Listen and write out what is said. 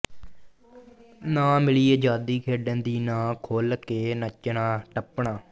ਨਾਂ ਮਿਲੀ ਅਜ਼ਾਦੀ ਖੇਡਣ ਦੀ ਨਾਂ ਖੁੱਲ ਕੇ ਨੱਚਣਾ ਟੱਪਣਾ